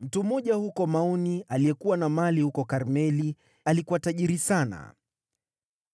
Mtu mmoja huko Maoni, aliyekuwa na makao huko Karmeli, alikuwa tajiri sana.